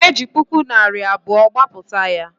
E ji narị puku naịra abụọ gbapụta ya